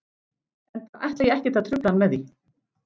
Enda ætla ég ekkert að trufla hann með því.